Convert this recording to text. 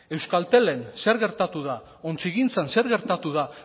euskaltelen zer gertatu da ontzigintzan zer gertatu da